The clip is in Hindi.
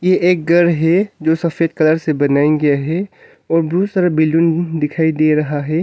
ये एक घर है जो सफेद कलर से बनाये गया है बहुत सारा बिल्डिंग दिखाई दे रहा है।